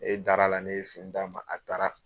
E darala ne ye fini d' ma a taara.